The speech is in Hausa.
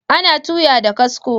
Ana tuya da kasko